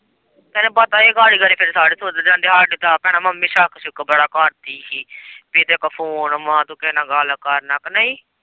ਤੈਨੂੰ ਪਤਾ ਹੀ ਏ ਗਾੜੀ-ਗਾੜੀ ਫੇਰ ਸਾਰੇ ਸੋਚਦੇ ਹੁੰਦੇ ਹਾਡੇ ਤੇ ਆਪ ਭੈਣਾਂ ਮੰਮੀ ਛੱਕ-ਛੂਕ ਬੜਾ ਕਰਦੀ ਹੀ ਕਿ ਤੇਰੇ ਕੋਲ਼ phone ਵਾਂ ਤੂੰ ਕਿਹੇ ਨਾਲ਼ ਗੱਲ ਕਰਨਾ ਕਿ ਨੀ।